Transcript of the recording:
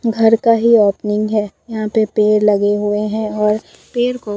घर का ही ओपनिंग है यहां पे पेड़ लगे हुए हैं और पेड़ को--